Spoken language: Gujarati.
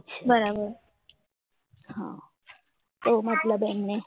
બરાબર હા હા મતલબ